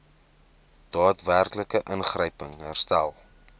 daadwerklike ingryping herstel